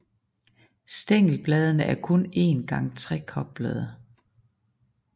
Stængelbladene er kun en gang trekoblede